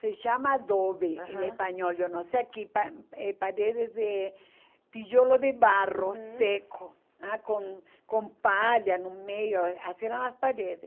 se chama adobe aham em espanhol, eu não sei aqui, pa eh paredes de tijolo de barro uhum seco, com com palha no meio, assim eram as paredes.